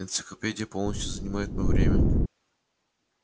энциклопедия полностью занимает моё время